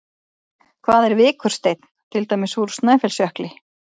Hvað er vikursteinn, til dæmis úr Snæfellsjökli?